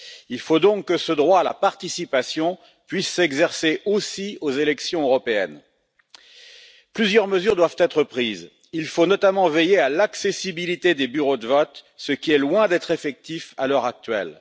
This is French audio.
Il faut donc que ce droit à la participation puisse s'exercer aussi aux élections européennes. Plusieurs mesures doivent être prises, il faut notamment veiller à l'accessibilité des bureaux de vote, ce qui est loin d'être effectif à l'heure actuelle.